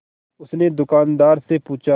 उसने दुकानदार से पूछा